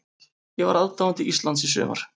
Ég var aðdáandi Íslands í sumar.